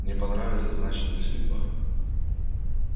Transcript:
не понравится значит не судьба